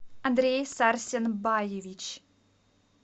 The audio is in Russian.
андрей сарсенбаевич